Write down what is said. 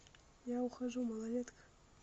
я ухожу малолетка